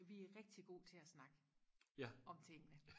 vi er rigtig gode til og snakke om tingene